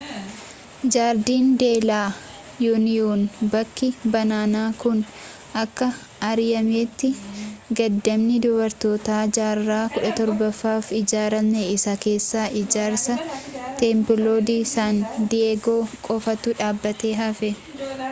jardín de la unión. bakki banana kun akka airiyeemitti gadaamii dubartootaa jaarraa-17ffaaf ijaarame isa keessaa ijaarsa templo de san diego qofatu dhaabbatee hafe